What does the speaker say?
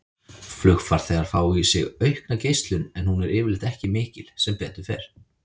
Flugfarþegar fá í sig aukna geislun en hún er yfirleitt ekki mikil, sem betur fer.